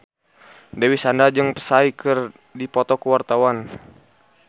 Dewi Sandra jeung Psy keur dipoto ku wartawan